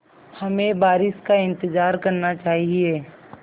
हमें बारिश का इंतज़ार करना चाहिए